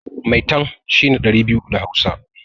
Maitan' shine ɗari biyu da hausa.